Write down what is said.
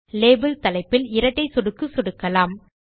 label தலைப்பில் இரட்டை சொடுக்கலாம்